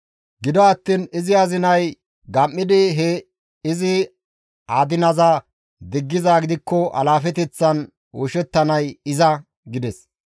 Gido attiin izi azinay gam7idi he izi adinaza diggizaa gidikko alaafeteththan oyshettanay iza» gides.